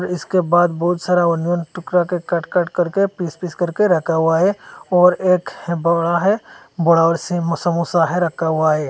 इसके बाद बहुत सारा वन वन टुकड़ा कट कट करके पीस पीस करके रखा हुआ है और एक बोरा है बरा सा समोसा है रखा हुआ है।